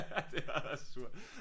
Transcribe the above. Ej det var da surt